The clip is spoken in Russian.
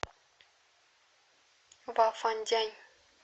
вафандянь